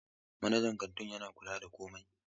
Manajan kantin yana kula da komai.